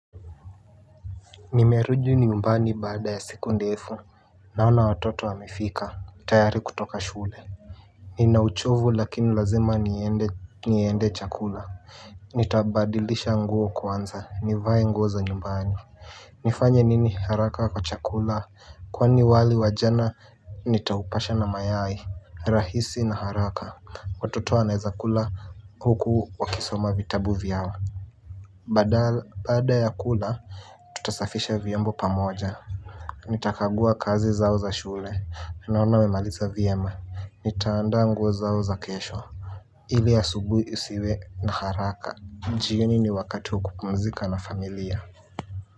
Nimerudi nyumbani baada ya siku ndefu naona watoto wamefika tayari kutoka shule. Ninauchovu lakini lazima niende chakula. Nitabadilisha nguo kwanza nivae nguo za nyumbani. Nifanye nini haraka kwa chakula kwani wali wa jana nitaupasha na mayai rahisi na haraka watoto wanaezakula huku wakisoma vitabu vyao. Baada ya kula, tutasafisha vyombo pamoja. Nitakagua kazi zao za shule. Naona wamemaliza vyema. Nitaandaa nguo zao za kesho. Ili asubuhi isiwe na haraka. Jioni ni wakati wa kupumzika na familia.